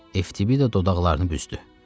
Evtibida dodaqlarını büzdü.